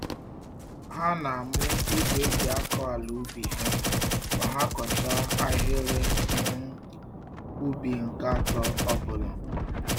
Ha na-amụ igwe eji-akọ-àlà-ubi ha ma ha kọchaa ahịrị um ubi nke atọ ọbula